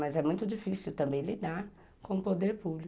Mas é muito difícil também lidar com o poder público.